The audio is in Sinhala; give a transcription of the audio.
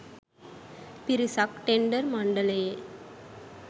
පිරිසක් ටෙන්ඩර් මණ්ඩලයේ